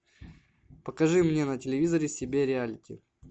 покажи мне на телевизоре себя реалити